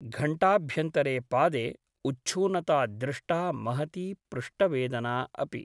घण्टाभ्यन्तरे पादे उच्छूनता दृष्टा महती पृष्ठवेदना अपि ।